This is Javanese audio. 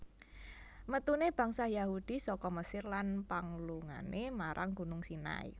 Metune bangsa Yahudi saka Mesir lan panglungane marang Gunung Sinai